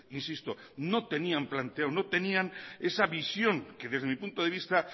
insisto no tenían planteado no tenían esa visión que desde mi punto de vista